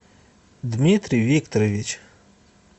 дмитрий викторович